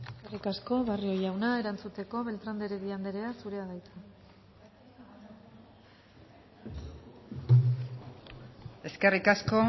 eskerrik asko barrio jauna erantzuteko beltrán de heredia anderea zurea da hitza eskerrik asko